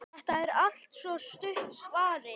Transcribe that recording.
Þetta er altso stutta svarið.